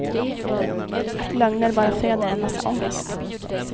Att lögner bara föder en massa ångest.